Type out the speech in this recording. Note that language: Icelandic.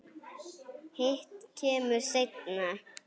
Hitt kemur seinna.